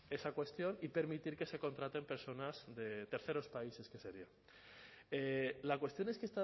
esa cuestión y permitir que se contraten personas de terceros países que sería la cuestión es que